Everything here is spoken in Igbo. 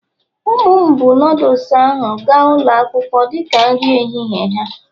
ụmụ m buu noodles gaa ụlọ akwụkwọ dị ka nri ehihie ha